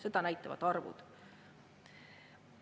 Seda näitavad arvud.